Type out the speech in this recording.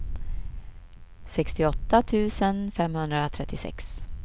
sextioåtta tusen femhundratrettiosex